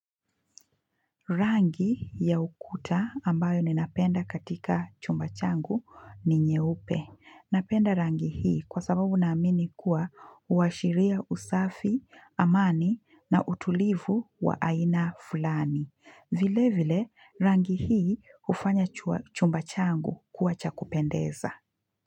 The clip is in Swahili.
Rangi ya ukuta ambayo ninapenda katika chumba changu ni nyeupe. Napenda rangi hii kwa sababu naamini kuwa huwashiria usafi, amani na utulivu wa aina fulani. Vile vile rangi hii hufanya chumba changu kuwa chakupendeza.